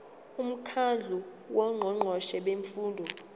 umkhandlu wongqongqoshe bemfundo